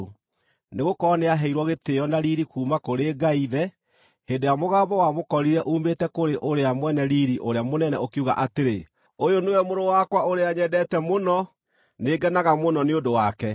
Nĩgũkorwo nĩaheirwo gĩtĩĩo na riiri kuuma kũrĩ Ngai Ithe, hĩndĩ ĩrĩa mũgambo wamũkorire uumĩte kũrĩ Ũrĩa Mwene Riiri ũrĩa Mũnene ũkiuga atĩrĩ, “Ũyũ nĩwe Mũrũ wakwa ũrĩa nyendete mũno; nĩ ngenaga mũno nĩ ũndũ wake.”